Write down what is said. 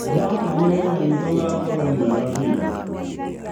Ndĩratanya wĩra witũ ũgakorwo mwega biũ.